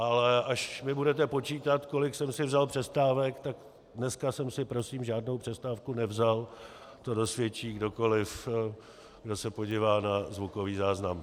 Ale až mi budete počítat, kolik jsem si vzal přestávek, tak dnes jsem si prosím žádnou přestávku nevzal, to dosvědčí kdokoli, kdo se podívá na zvukový záznam.